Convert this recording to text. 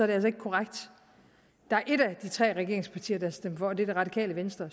det altså ikke korrekt der er et af de tre regeringspartier der har stemt for og det er det radikale venstre